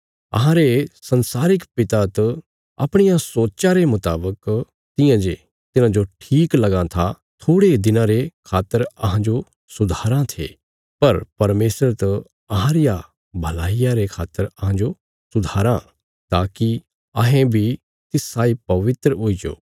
अहांरे संसारिक पिता त अपणिया सोच्चा रे मुतावक तियां जे तिन्हांजो ठीक लगां था थोड़े दिनां रे खातर अहांजो सुधाराँ थे पर परमेशर त अहां रिया भलाईया रे खातर अहांजो सुधाराँ ताकि अहें बी तिस साई पवित्र हुईजो